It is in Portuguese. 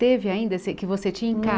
Teve ainda se vo que você tinha em